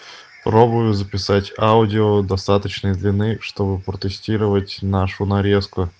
пробую записать аудио достаточной длины чтобы протестировать нашу нарезку